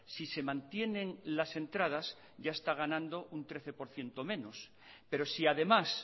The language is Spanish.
si se mantienen las entradas ya está ganando un trece por ciento menos pero si además